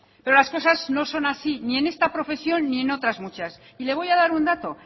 pero las cosas no son así ni en esta profesión ni en otras muchas y le voy a dar un dato